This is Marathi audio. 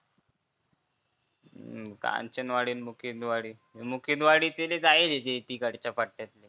कांचनवाडी अन मुकिंदवाडी मुकिंदवाडी ते लय जायेल ते तिकडचा पट्यातले